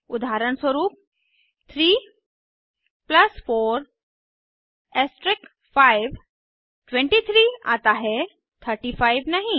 उदाहरणस्वरूप 3 4 5 23 आता है 35 नहीं